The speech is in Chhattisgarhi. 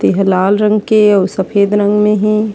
तेहा लाल रंग के आऊ सफ़ेद रंग में हे।